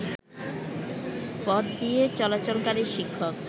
পথদিয়ে চলাচলকারী শিক্ষক